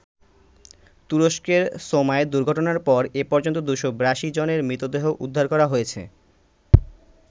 তুরস্কের সোমায় দুর্ঘটনার পর এ পর্যন্ত ২৮২ জনের মৃতদেহ উদ্ধার করা হয়েছে।